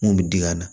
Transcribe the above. Mun bɛ diŋɛ na